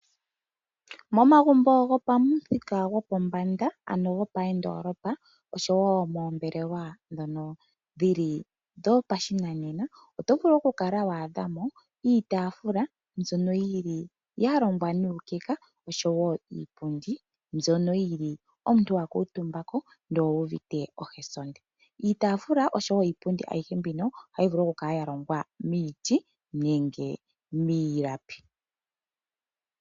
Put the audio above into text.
Momagumbo gomoondolopa oshowo moombelewa ndhono dhopashinanena oto vulu okwaadhamo iitafula mbyono yalongwa nuukeka oshowo iipundi mbyono omuntu hakuutumba ko nokuuvite ohasonde. Iitafula oshowo iipundi ayihe mbino ohayi vulu okukala yalongwa miiti nenge miilapi.